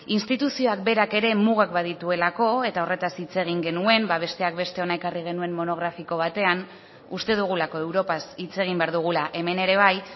instituzioak berak ere mugak badituelako eta horretaz hitz egin genuen besteak beste hona ekarri genuen monografiko batean uste dugulako europaz hitz egin behar dugula hemen ere bai